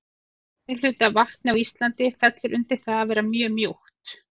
Meirihluti af vatni á Íslandi fellur undir það að vera mjög mjúkt.